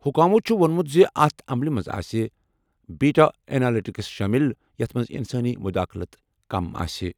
حکامَو چھُ ووٚنمُت زِ اتھ عملہِ منٛز آسہِ بیٹا اینالٹکس شٲمِل، یَتھ منٛز انسٲنی مداخلت کم آسہِ۔